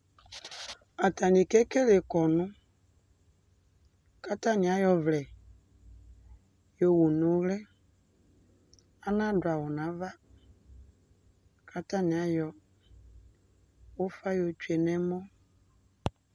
Atani keke kɔnʋ, k'atani ay'ɔvlɛ yowu n'uli, anadʋ awʋ n'ava k'atani ayɔ ufa yɔ tsue n'ɛmɔ